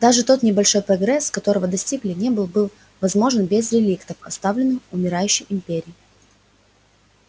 даже тот небольшой прогресс которого достигли не был бы возможен без реликтов оставленных умирающей империей